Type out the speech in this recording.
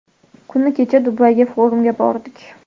Kuni kecha Dubayga forumga bordik.